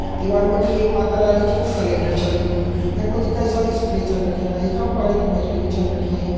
दीवाल मा जी एक माता रानी जी कू कैलेंडर छ लग्युं यख मा जी कई सारी स्प्रे छन रख्यां यखम पाणी की बोतल भी छन रखीं।